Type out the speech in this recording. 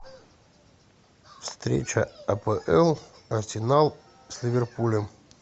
встреча апл арсенал с ливерпулем